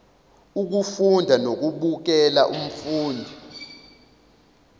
ukufunda nokubukela umfundi